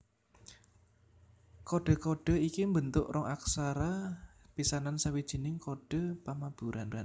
Kodhe kodhe iki mbentuk rong aksara pisanan sawijining kodhe pamaburan